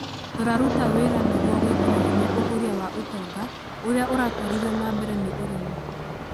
Tũraruta wĩra nĩguo gwĩkĩra hinya ũkũria wa ũtonga ũrĩa ũratũarithio na mbere nĩ ũrĩmi